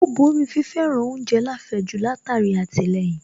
Ó borí fi fẹ́ràn oúnjẹ láfẹ̀ẹ́jù látara àtìlẹyìn